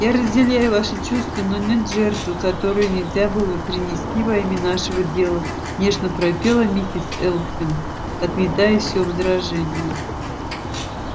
я разделяю ваши чувства но нет жертвы которую нельзя было бы принести во имя нашего дела нежно пропела миссис элсинг отметая всё возражения